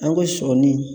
An ka sɔɔni